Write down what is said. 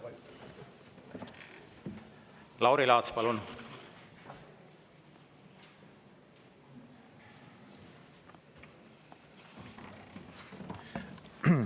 Lauri Laats, palun!